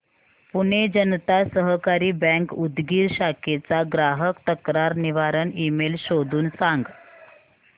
पुणे जनता सहकारी बँक उदगीर शाखेचा ग्राहक तक्रार निवारण ईमेल शोधून सांग